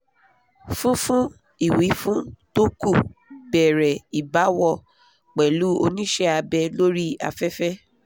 fún fún ìwífún tó kù bẹ̀rẹ̀ ìbáwọ̀ pẹ̀lú onise abe lori afefe